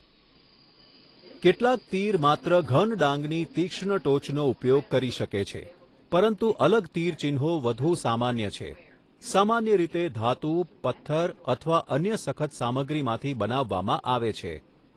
કેટલાક તીર માત્ર ઘન ડાંગની તીક્ષ્ણ ટોચનો ઉપયોગ કરી શકે છે, પરંતુ અલગ તીરચિહ્નો વધુ સામાન્ય છે, સામાન્ય રીતે ધાતુ, પથ્થર અથવા અન્ય સખત સામગ્રીમાંથી બનાવવામાં આવે છે.